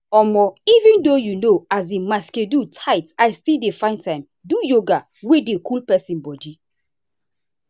um even though um my schedule tight i still dey find time do yoga wey dey cool person body.